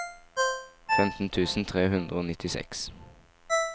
femten tusen tre hundre og nittiseks